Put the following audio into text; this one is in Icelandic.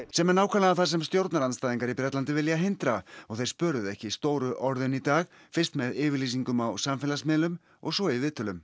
sem er nákvæmlega það sem stjórnarandstæðingar vilja hindra og þeir spöruðu ekki stóru orðin í dag fyrst með yfirlýsingum á samfélagsmiðlum og svo í viðtölum